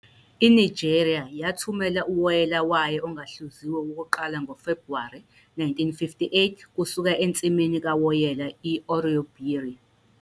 INigeria yathumela uwoyela wayo ongahluziwe wokuqala ngoFebhuwari 1958 kusuka ensimini kawoyela i-Oloibiri.